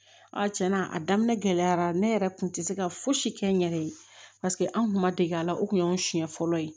tiɲɛ na a daminɛ gɛlɛyara ne yɛrɛ kun tɛ se ka fosi kɛ n yɛrɛ ye paseke an kun ma dege a la o tun y'an siɲɛ fɔlɔ ye